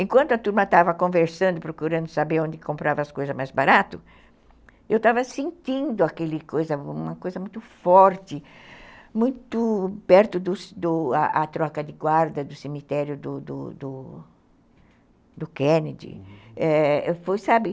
Enquanto a turma estava conversando, procurando saber onde comprava as coisas mais barato, eu estava sentindo aquele coisa, uma coisa muito forte, muito perto do do da troca de guarda do do do do cemitério do Kennedy, é, foi, sabe...